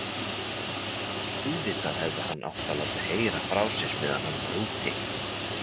Auðvitað hefði hann átt að láta heyra frá sér meðan hann var úti.